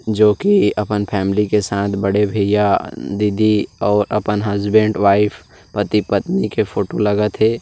जो कि अपन फॅमिली के साथ बड़े भईया दीदी और अपन हस्बैंड वाइफ पति पत्नी के फोटो लगत हे।